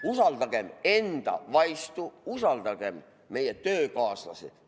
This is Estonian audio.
Usaldagem enda vaistu, usaldagem oma töökaaslasi!